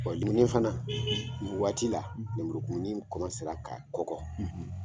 fana nin waati la lumuru kumuni ka kɔkɔ.